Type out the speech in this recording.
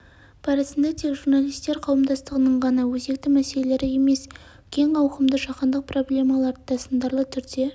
барысында тек журналистер қауымдастығының ғана өзекті мәселелері емес кең ауқымды жаһандық проблемалар да сындарлы түрде